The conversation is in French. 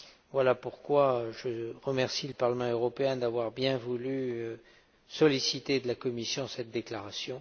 Voilà pourquoi je remercie le Parlement européen d'avoir bien voulu solliciter de la Commission cette déclaration.